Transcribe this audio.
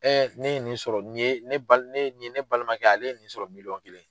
ne ye nin sɔrɔ nin ye ne balimakɛ ye ale nin sɔrɔ miliyɔn kelen.